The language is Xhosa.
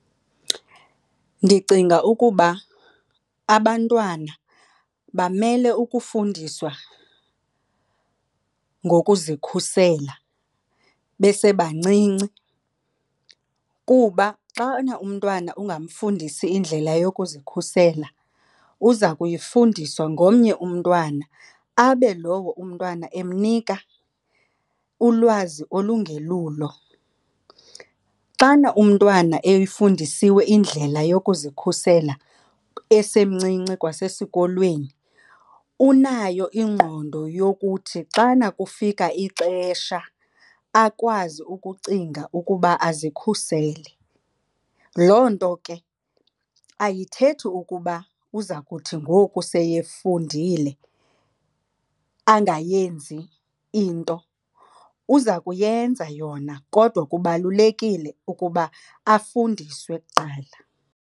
Ndicinga ukuba abantwana bamele ukufundiswa ngokuzikhusela besebancinci kuba xana umntwana ungamfundisi indlela yokuzikhusela uza kuyifundiswa ngomnye umntwana abe lowo umntwana emnika ulwazi olungelulo. Xana umntwana eyifundisiwe indlela yokuzikhusela esemncinci kwasesikolweni, unayo ingqondo yokuthi xana kufika ixesha akwazi ukucinga ukuba azikhusele. Loo nto ke ayithethi ukuba uza kuthi ngoku seyefundile angayenzi into. Uza kuyenza yona kodwa kubalulekile ukuba afundiswe kuqala.